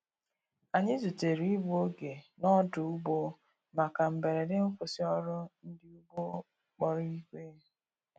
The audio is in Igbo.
Anyi zutere igbụ oge n' odu‐ụgbọ maka mgberede nkwụsi ọrụ ndi ụgbọ kpọrọ igwe